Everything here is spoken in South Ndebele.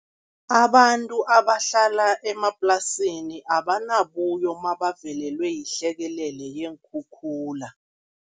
Abantu abahlala emaplasini abanabuyo mabavelelwe yihlekelele yeenkhukhula.